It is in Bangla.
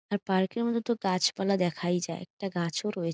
আর পার্ক -এ মূলত গাছপালা দেখাই যায় ।একটা গাছ ও রয়ে --